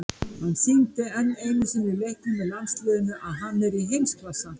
Hann sýndi enn einu sinni í leikjum með landsliðinu að hann er í heimsklassa.